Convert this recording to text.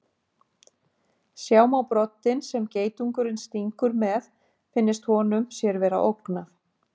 Sjá má broddinn sem geitungurinn stingur með finnist honum sér vera ógnað.